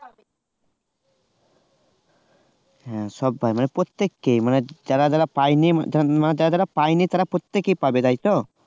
হ্যাঁ সব্বাই মানে প্রত্যেককে যারা যারা পায়নি যারা যারা পায়নি তারা প্রত্যেকেই পাবে তাই তো?